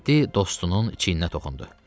Mehdi dostunun çiyninə toxundu.